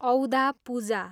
औदा पूजा